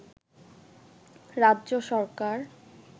রাজ্য সরকার